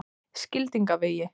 Skildingavegi